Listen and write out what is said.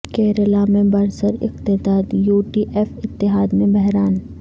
کیرالا میں برسر اقتدار یو ڈی ایف اتحاد میں بحران